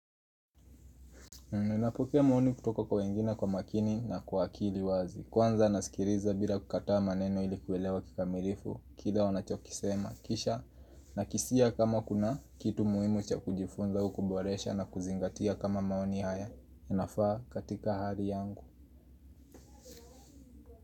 Ninapokea maoni kutoka kwa wengine kwa makini na kwa akili wazi. Kwanza nasikiriza bila kukataa maneno ilikuelewa kikamirifu. Kile wanachokisema. Kisha na kisia kama kuna kitu muhimu cha kujifunza au kuboresha na kuzingatia kama maoni haya. Nafaa katika hari yangu.